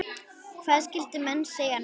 Hvað skyldu menn segja núna?